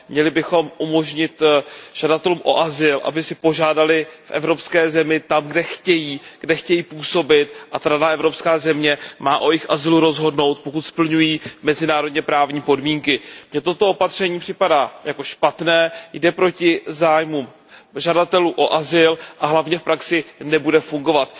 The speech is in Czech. Měli bychom umožnit žadatelům o azyl, aby si požádali v evropské zemi tam, kde chtějí, kde chtějí působit, a ta evropská země má o jejich azylu rozhodnout, pokud splňují mezinárodně právní podmínky. Mně toto opatření připadá jako špatné, jde proti zájmům žadatelů o azyl a hlavně v praxi nebude fungovat.